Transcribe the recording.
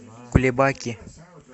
кулебаки